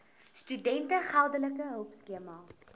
studente geldelike hulpskema